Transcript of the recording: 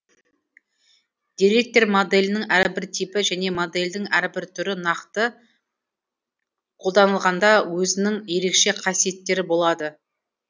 деректер моделінің әрбір типі және модельдің әрбір түрі нақты қолданылғанда өзінің ерекше қасиеттері болады